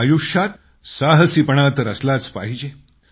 आयुष्यात साहसीपणा तर असलाच पाहिजे